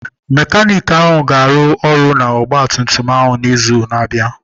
Mekaniki ahụ ga-arụ ọrụ n'ọgba tum tum n'izu na-abịa